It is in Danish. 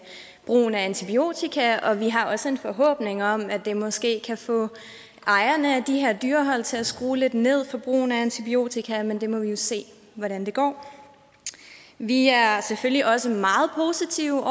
brugen af antibiotika og vi har også en forhåbning om at det måske kan få ejerne af de her dyrehold til at skrue lidt ned for brugen af antibiotika men vi må se hvordan det går vi er selvfølgelig også meget positive